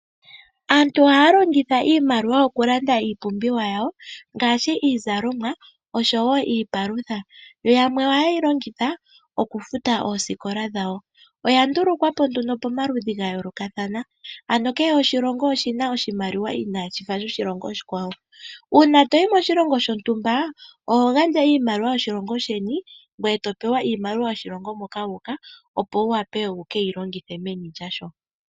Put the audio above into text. Aantu ohaa longitha iimaliwa okulanda iipumbiwa yawo ngaashi iizalomwa nosho woo iipalutha. Yamwe oha ye yi longitha oku futa oosikola dhawo. Oya ndulukwa po momaludhuli ga yoolokathana ,ano kehe oshilongo oshi na oshimaliwa inaashi fa shoshilongo oshikwawo. Uuna to yi moshilongo shontumba oho handja iimaliwa yoshilongo sheni ngweye to pewa iimaliwa yomoshilongo moka wuuka opo wu vule wuke yi longithe meni lyoshilongo shoka.